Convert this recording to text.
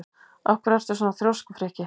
Af hverju ertu svona þrjóskur, Frikki?